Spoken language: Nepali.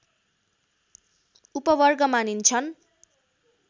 उपवर्ग मानिन्छन्